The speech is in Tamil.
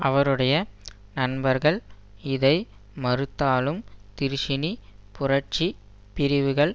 அவருடைய நண்பர்கள் இதை மறுத்தாலும் திருஷினி புரட்சி பிரிவுகள்